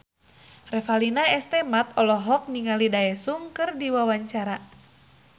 Revalina S. Temat olohok ningali Daesung keur diwawancara